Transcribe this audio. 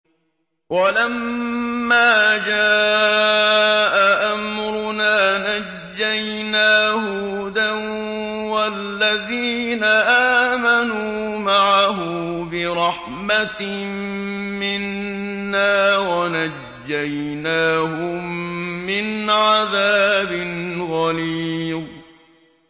وَلَمَّا جَاءَ أَمْرُنَا نَجَّيْنَا هُودًا وَالَّذِينَ آمَنُوا مَعَهُ بِرَحْمَةٍ مِّنَّا وَنَجَّيْنَاهُم مِّنْ عَذَابٍ غَلِيظٍ